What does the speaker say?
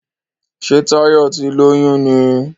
Ṣe Tayo tí lóyún ní?